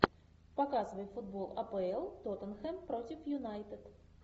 показывай футбол апл тоттенхэм против юнайтед